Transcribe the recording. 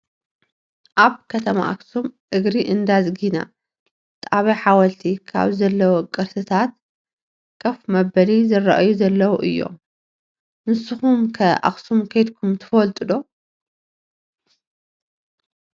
አብ ከተማ አክሱም እግሪ እነዳዝግና ጣብያ ሐወልት ካብ ዘለው ቅርሰታት ከፍ መበሊ ዝርአዮ ዘለው አዮ ። ነሰኩም ከአክሱም ከዲኩም ትፈልጥ ዶ?